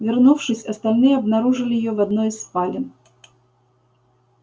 вернувшись остальные обнаружили её в одной из спален